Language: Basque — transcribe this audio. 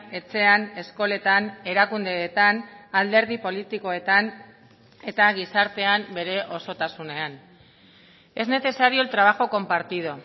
etxean eskoletan erakundeetan alderdi politikoetan eta gizartean bere osotasunean es necesario el trabajo compartido